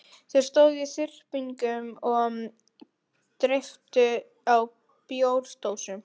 Þeir stóðu í þyrpingum og dreyptu á bjórdósum.